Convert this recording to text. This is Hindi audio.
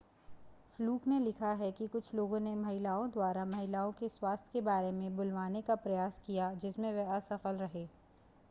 फ्लूक ने लिखा है कि कुछ लोगों ने महिलाओं द्वारा महिलाओं के स्वास्थ्य के बारे में बुलवाने का प्रयास किया जिसमें वे असफल रहे